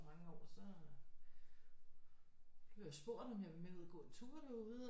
Mange år så så blev jeg spurgt om jeg ville med ud og gå en tur derude